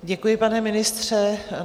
Děkuji, pane ministře.